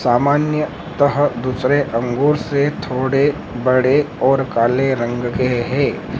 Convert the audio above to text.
सामान्य तरह दूसरे अंगूर से थोड़े बड़े और काले रंग के हैं।